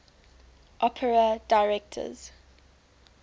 opera directors